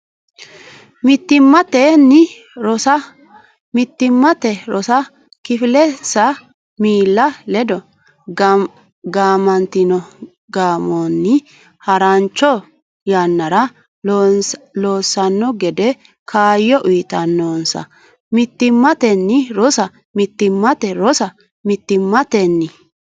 Mittimmatenni Rosa Mittimmate rosa kifilensa miilla ledo gaamantino gaamonni harancho yannara loossanno gede kaayyo uytannonsa Mittimmatenni Rosa Mittimmate rosa Mittimmatenni.